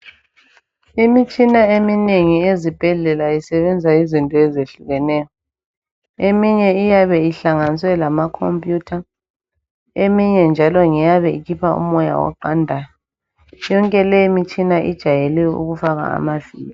Imitshina eminengi ezibhedlela isebenza izinto ezehlukeneyo. Eminye iyabe ihlanganiswe lamacomputer, eminye njalo iyabe ikhupha umoya oqandayo. Yonke limitshina ijayele ukufaka amavili.